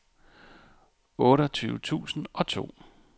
otteogtyve tusind og to